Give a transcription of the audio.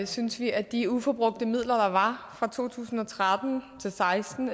synes vi at de uforbrugte midler der var fra to tusind og tretten til seksten